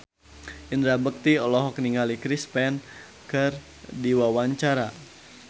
Indra Bekti olohok ningali Chris Pane keur diwawancara